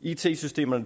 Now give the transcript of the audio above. it systemerne